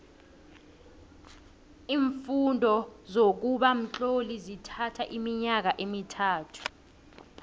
iimfundo zokuba mtloli zithatho iminyaka emithathu